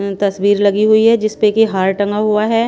अं तस्वीर लगी हुई है जिस पे कि हार टंगा हुआ है।